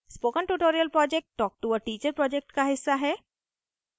spoken tutorial project talktoa teacher project का हिस्सा है